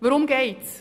Worum geht es?